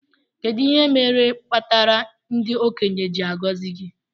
Kedu ihe imere kpatara ndi okenye ji agozi gi?